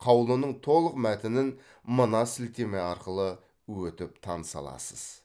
қаулының толық мәтінін мына сілтеме арқылы өтіп таныса аласыз